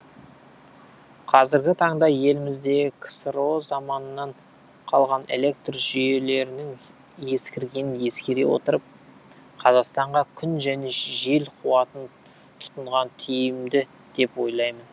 қазіргі таңда еліміздегі ксро заманынан қалған электр жүйелерінің ескіргенін ескере отырып қазақстанға күн және жел қуатын тұтынған тиімді деп ойлаймын